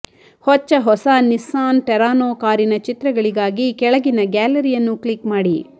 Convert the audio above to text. ಹೊಚ್ಚ ಹೊಸ Nissan Terrano ಕಾರಿನ ಚಿತ್ರಗಳಿಗಾಗಿ ಕೆಳಗಿನ ಗ್ಯಾಲರಿಯನ್ನು ಕ್ಲಿಕ್ ಮಾಡಿ